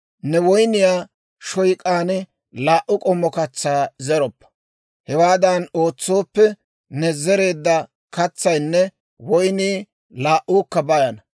«Ne woyniyaa shoyk'aan laa"u k'ommo katsaa zeroppa; hewaadan ootsooppe, ne zereedda katsaynne woynnii laa"uukka bayana.